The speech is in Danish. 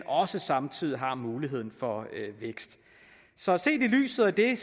og samtidig har mulighed for vækst så set i lyset af det